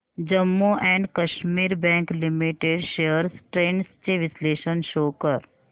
Jammu and Kashmir Bank Limited shares trends चे विश्लेषण show कर